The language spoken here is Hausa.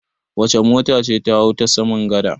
Wace mota ce ta hau ta saman gada?